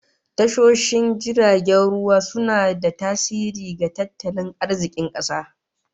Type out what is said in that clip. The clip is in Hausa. Tashoshin jiragen ruwa suna da tasiri ga tattalin arzikin kasa